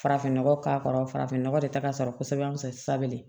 Farafin nɔgɔ k'a kɔrɔ farafin nɔgɔ de ta ka sɔrɔ kosɛbɛ